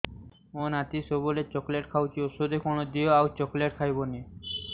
ମୋ ନାତି ସବୁବେଳେ ଚକଲେଟ ଖାଉଛି ଔଷଧ କଣ ଦିଅ ଆଉ ଚକଲେଟ ଖାଇବନି